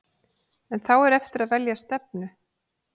En þá er eftir að velja stefnu.